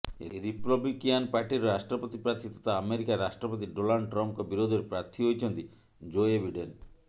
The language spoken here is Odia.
ରିପବ୍ଲିକିଆନ ପାର୍ଟିର ରାଷ୍ଟ୍ରପତି ପ୍ରାର୍ଥୀ ତଥା ଆମେରିକା ରାଷ୍ଟ୍ରପତି ଡୋନାଲ୍ଡ ଟ୍ରମ୍ପଙ୍କ ବିରୋଧରେ ପ୍ରାର୍ଥୀ ହୋଇଛନ୍ତି ଜୋଏ ବିଡେନ